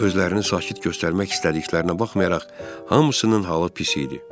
Özlərini sakit göstərmək istədiklərinə baxmayaraq, hamısının halı pis idi.